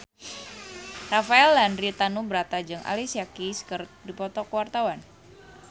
Rafael Landry Tanubrata jeung Alicia Keys keur dipoto ku wartawan